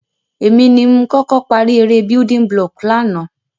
Èmi ni m koko parí eré buliding block lánàá